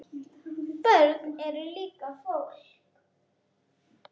Börn eru líka fólk.